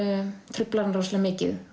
truflar hana rosalega mikið